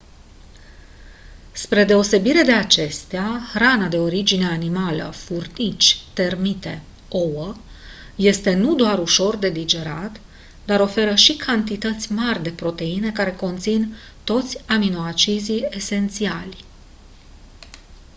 spre deosebire de acestea hrana de origine animală furnici termite ouă este nu doar ușor de digerat dar oferă și cantități mari de proteine care conțin toți aminoacizii esențiali